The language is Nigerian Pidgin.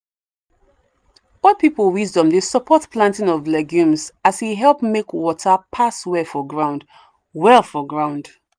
old people wisdom dey support planting of legumes as e help make water pass well for ground. well for ground.